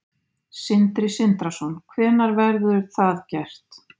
Sindri Sindrason: Hvenær verður það gert?